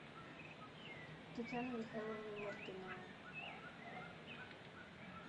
татьяна михайловна мартынова